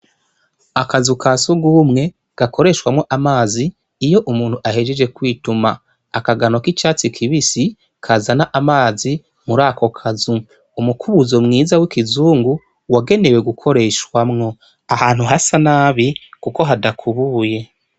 Akazu kasugwumwe gakoreshwamwo amazi iyo umuntu ahajeje kwituma. Akagano k'icatsi kibisi kazana amazi murakokazu; umukubuzo mwiza w'ikizungu wagenewe gukoreshwamwo; ahantu hasa nabi kuko hadakubiye.